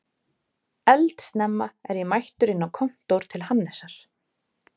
Eldsnemma er ég mættur inn á kontór til Hannesar